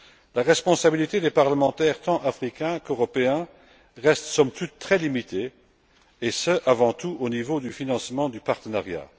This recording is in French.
La responsabilité des parlementaires tant africains qu'européens reste, somme toute, très limitée et ce, avant tout, au niveau du financement du partenariat.